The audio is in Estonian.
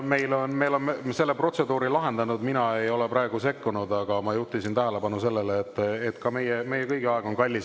Me oleme selle protseduuri lahendanud, mina ei ole praegu sekkunud, aga ma juhtisin tähelepanu sellele, et meie kõigi aeg on kallis.